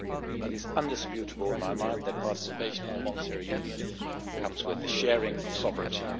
It is indisputable in my mind that participation in a monetary union comes with the sharing of sovereignty.